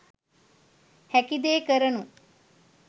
හැකිදේ කරනු .